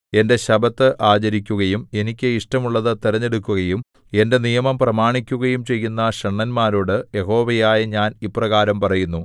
എന്റെ ശബ്ബത്ത് ആചരിക്കുകയും എനിക്ക് ഇഷ്ടമുള്ളതു തിരഞ്ഞെടുക്കുകയും എന്റെ നിയമം പ്രമാണിക്കുകയും ചെയ്യുന്ന ഷണ്ഡന്മാരോടു യഹോവയായ ഞാൻ ഇപ്രകാരം പറയുന്നു